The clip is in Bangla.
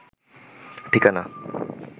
ঠিকানা